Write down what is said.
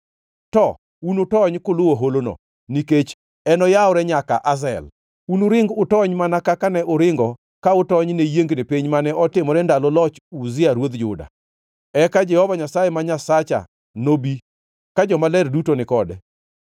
To unutony kuluwo holono, nikech enoyawre nyaka Azel. Unuring utony mana kaka ne uringo ka utony ne yiengni piny mane otimore ndalo loch Uzia ruodh Juda. Eka Jehova Nyasaye ma Nyasacha nobi, ka jomaler duto ni kode.